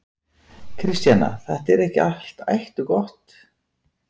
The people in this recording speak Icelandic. Kristjana: Þetta er ekki allt ætt og gott?